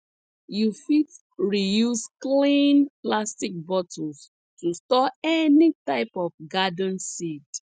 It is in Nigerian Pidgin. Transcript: you fit reuse clean plastic bottles to store any type of garden seed